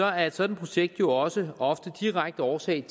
er et sådant projekt jo også ofte direkte årsag